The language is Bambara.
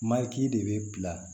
Mari de bɛ bila